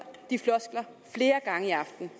de floskler flere gange i aften